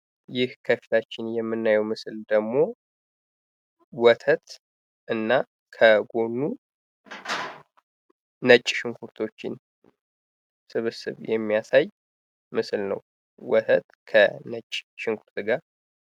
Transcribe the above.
ይህ ከፊታችን የምናየው ምስል ደሞ ወተት እና ከጎኑ ነጭ ሽንኩርቶችን ስብስብ የሚያሳይ ምስል ነው። ወተት ከነጭ ሽንኩርት ጋር